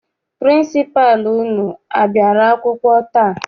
Pịrịnsịpalụ unu a bịara akwụkwọ taa?